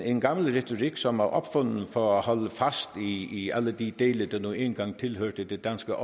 en gammel retorik som er opfundet for at holde fast i alle de dele der nu engang tilhørte det danske